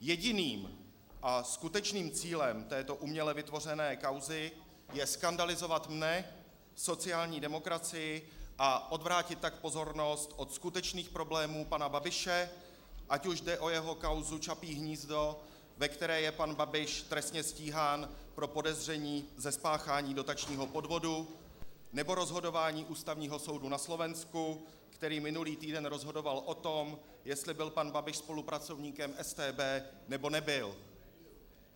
Jediným a skutečným cílem této uměle vytvořené kauzy je skandalizovat mne, sociální demokracii a odvrátit tak pozornost od skutečných problémů pana Babiše, ať už jde o jeho kauzu Čapí hnízdo, ve které je pan Babiš trestně stíhán pro podezření ze spáchání dotačního podvodu, nebo rozhodování Ústavního soudu na Slovensku, který minulý týden rozhodoval o tom, jestli byl pan Babiš spolupracovníkem StB, nebo nebyl.